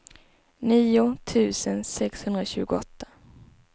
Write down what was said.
nio tusen sexhundratjugoåtta